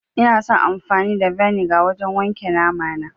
Ina son amfani da vinegar wajen wanke namana